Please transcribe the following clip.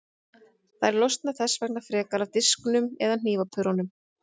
Þær losna þess vegna frekar af disknum eða hnífapörunum.